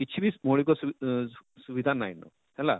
କିଛି ବି ମୌଳିକ ଆଁ ସୁ ସୁ ସୁବିଧା ନାଇଁ ହେଲା,